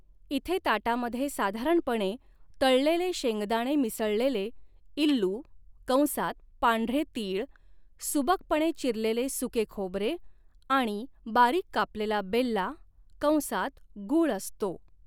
इथे ताटामध्ये साधारणपणे तळलेले शेंगदाणे मिसळलेले 'इल्लू' कंसात पांढरे तीळ, सुबकपणे चिरलेले सुके खोबरे आणि बारीक कापलेला बेल्ला कंसात गूळ असतो.